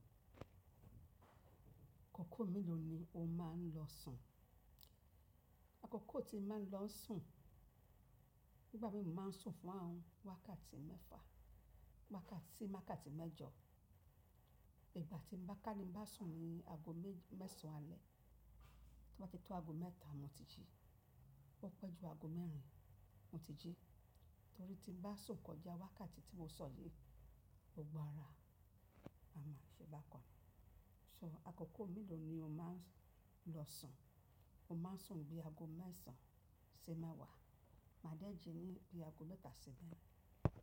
Akọkọ mélòó ni o máa ń lọ sùn? Àkókò tí máa ń lọ sùn, nígbà mìí mo máa ń sùn fún àwọn wákàtí mẹ́fa, wákàtí wákàtí tmẹ́jọ. Ìgbà tí mo bá káni bá sùn ni aago mẹ́sàn-án alẹ́, tí mo bá ti tó aago mẹ́ta mo ti jí. Ó pẹ́ ju aago mẹ́rin mo ti jí, torí tí n bá sùn kọjá wákàtí tí mo sọ yìí, gbogbo ara a máa ṣe é bá kọ. So akọkọ mélòó ni o máa ń lọ sùn? Mo máa ń sùn bí aago mẹ́sàn-án sì mẹ́wàá, màá dẹ́jì ní bí aago mẹ́ta síbẹ̀.